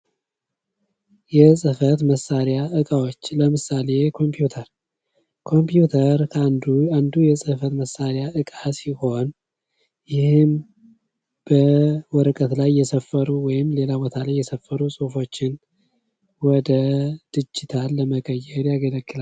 የፅህፈት መሳሪያ እቃዎች ለምሳሌ ኮምፐመዩተር ከአንዱ አንዱ የፅህፈት መሳሪያ እቃ ሲሆን በወረቀት ላይ የሰፈሩ ወይም ከሌላ ቦታ ላይ የሰፈሩ ወደ ዲጅታል ለመቀየር ያገለግላል።